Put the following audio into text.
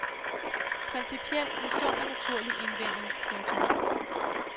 Principielt en sund og naturlig indvending. punktum